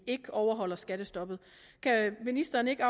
ikke overholder skattestoppet kan ministeren ikke